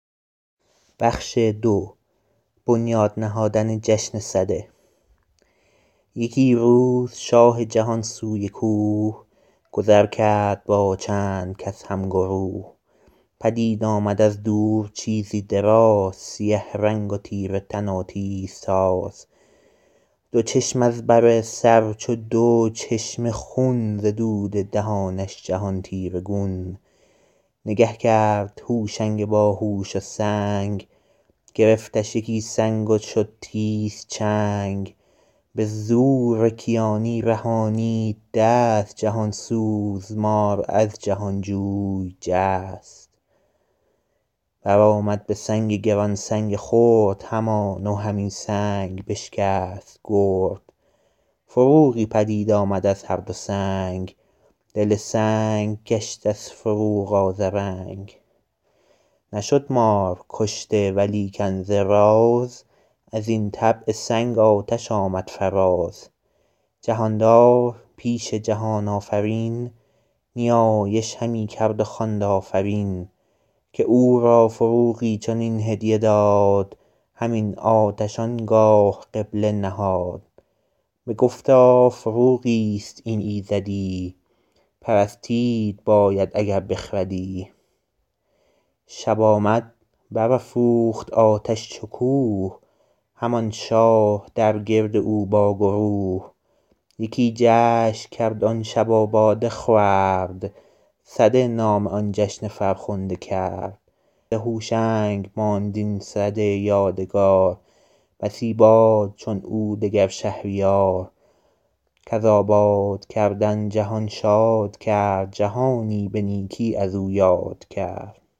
یکی روز شاه جهان سوی کوه گذر کرد با چند کس هم گروه پدید آمد از دور چیزی دراز سیه رنگ و تیره تن و تیز تاز دو چشم از بر سر چو دو چشمه خون ز دود دهانش جهان تیره گون نگه کرد هوشنگ باهوش و سنگ گرفتش یکی سنگ و شد تیز چنگ به زور کیانی رهانید دست جهان سوز مار از جهان جوی جست بر آمد به سنگ گران سنگ خرد همان و همین سنگ بشکست گرد فروغی پدید آمد از هر دو سنگ دل سنگ گشت از فروغ آذرنگ نشد مار کشته ولیکن ز راز از این طبع سنگ آتش آمد فراز جهاندار پیش جهان آفرین نیایش همی کرد و خواند آفرین که او را فروغی چنین هدیه داد همین آتش آنگاه قبله نهاد بگفتا فروغی است این ایزدی پرستید باید اگر بخردی شب آمد بر افروخت آتش چو کوه همان شاه در گرد او با گروه یکی جشن کرد آن شب و باده خورد سده نام آن جشن فرخنده کرد ز هوشنگ ماند این سده یادگار بسی باد چون او دگر شهریار کز آباد کردن جهان شاد کرد جهانی به نیکی از او یاد کرد